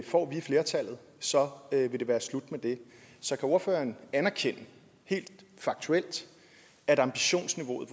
får vi flertallet så vil det være slut med det så kan ordføreren anerkende helt faktuelt at ambitionsniveauet